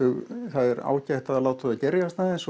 það er ágætt að láta þau gerjast aðeins